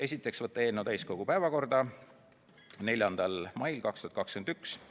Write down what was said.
Esiteks, võtta eelnõu täiskogu päevakorda 4. maiks 2021.